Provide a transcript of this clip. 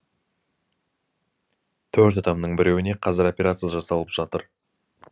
төрт адамның біреуіне қазір операция жасалып жатыр